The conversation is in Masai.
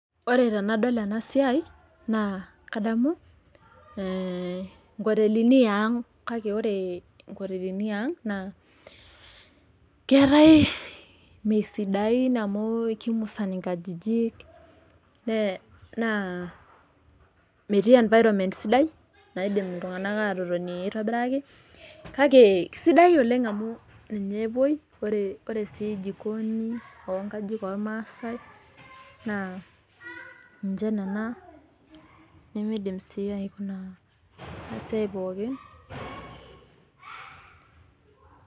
Ore tenadol enasiai naa kadamu nkotelini iang kake ore nkotelini iang keetae , mesidain amu kimusan inkajijik naa metii environment sidai , naidim iltunganak atotoni kake kisidai oleng amu ore jikoni ormaasae nemidim sii aikuna inasiai pookin.